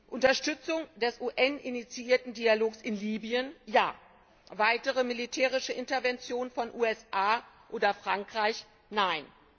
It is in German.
Unterstützung des UN initiierten Dialogs in Libyen Ja. Weitere militärische Interventionen von USA oder Frankreich Nein.